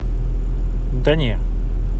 да не